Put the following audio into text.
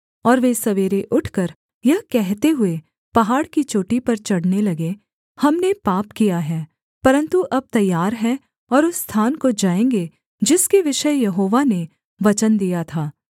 और वे सवेरे उठकर यह कहते हुए पहाड़ की चोटी पर चढ़ने लगे हमने पाप किया है परन्तु अब तैयार हैं और उस स्थान को जाएँगे जिसके विषय यहोवा ने वचन दिया था